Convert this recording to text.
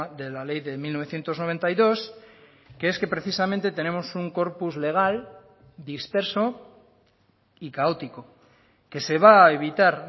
de la ley de mil novecientos noventa y dos que es que precisamente tenemos un corpus legal disperso y caótico que se va a evitar